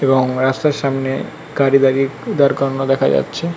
এবং রাস্তার সামনে গাড়ি দাঁড়িয়ে দাঁড় করানো দেখা যাচ্ছে।